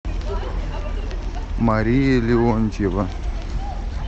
мария леонтьева